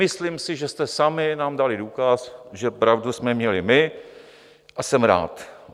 Myslím si, že jste sami nám dali důkaz, že pravdu jsme měli my, a jsem rád.